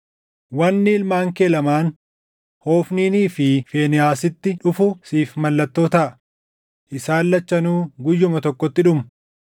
“ ‘Wanni ilmaan kee lamaan Hofniinii fi Fiinehaasitti dhufu siif mallattoo taʼa; isaan lachanuu guyyuma tokkotti dhumu.